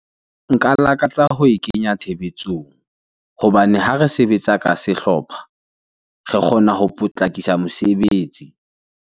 Nka lakatsa ho e kenya tshebetsong hobane ha re sebetsa ka sehlopha re kgona ho potlakisa mosebetsi.